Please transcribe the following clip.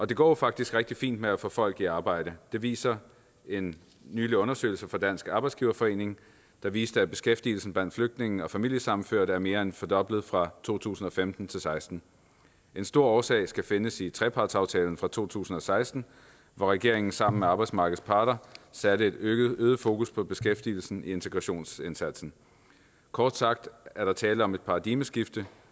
det går jo faktisk rigtig fint med at få folk i arbejde det viser en nylig undersøgelse fra dansk arbejdsgiverforening der viste at beskæftigelsen blandt flygtninge og familiesammenførte er mere end fordoblet fra to tusind og femten til og seksten en stor årsag skal findes i trepartsaftalen fra to tusind og seksten hvor regeringen sammen med arbejdsmarkedets parter satte et øget fokus på beskæftigelsen i integrationsindsatsen kort sagt er der tale om et paradigmeskifte